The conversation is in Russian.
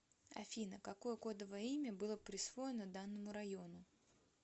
афина какое кодовое имя было присвоено данному району